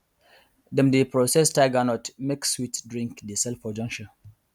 dem dey process tiger nut make sweet drink dey sell for junction